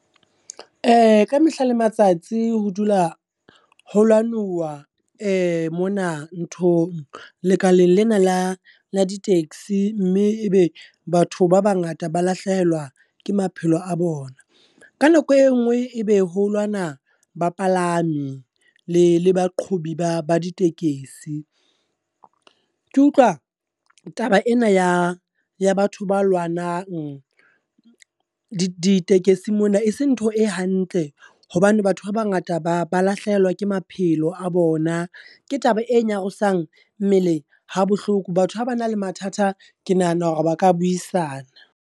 Ka mehla le matsatsi ho dula ho lwanuwa mona nthong lekaleng lena la, la di-taxi. Mme ebe batho ba bangata ba lahlehelwa ke maphelo a bona. Ka nako e nngwe e be ho lwana ba palami, le le baqhobi ba ba ditekesi. Ke utlwa taba ena ya batho ba lwanang ditekesing mona e seng ntho e hantle, hobane batho ba bangata ba ba lahlehelwa ke maphelo a bona. Ke taba e nyarosang mmele ha bohloko, batho ha ba na le mathata ke nahana hore ba ka buisana.